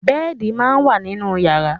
Bẹ́ẹ̀di máa ń wà nínú yàrá.